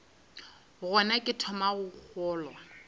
gona ke thomago go kgolwa